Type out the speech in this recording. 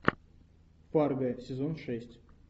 фарго сезон шесть